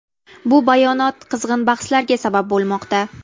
Bu bayonot qizg‘in bahslarga sabab bo‘lmoqda.